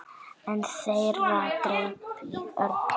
Einn þeirra greip í Örn.